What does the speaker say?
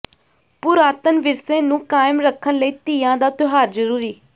ਪੁਰਾਤਨ ਵਿਰਸੇ ਨੂੰ ਕਾਇਮ ਰੱਖਣ ਲਈ ਤੀਆਂ ਦਾ ਤਿਉਹਾਰ ਜ਼ਰੂਰੀ